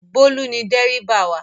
Bólú ni dẹ́ríbà wa